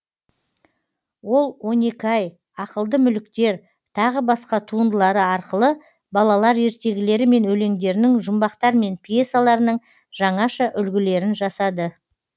ол он екі ай ақылды мүліктер тағы басқа туындылары арқылы балалар ертегілері мен өлеңдерінің жұмбақтар мен пьесаларының жаңаша үлгілерін жасады